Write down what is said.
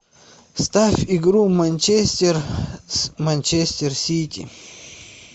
ставь игру манчестер с манчестер сити